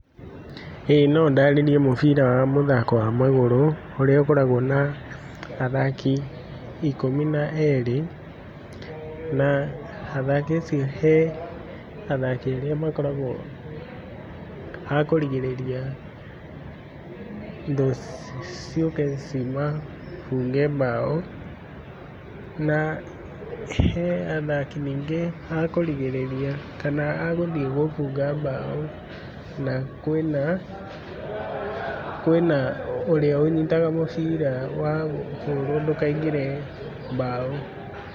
ĩĩ no ndarĩrĩrie mũbira wa mũthako wa magũrũ, ũrĩa ũkoragwo na athaki ikũmi na erĩ. Na athaki acio, he athaki arĩa makoragwo akũrigĩrĩria thũ ciũke cimabũnge mbaũ. Na he athaki ningĩ akũrigĩrĩria, kana agũthiĩ gũbũnga mbaũ, na kwĩna ũrĩa ũnyitaga mũbira wahũrwo ndũkaingĩre mbaũ.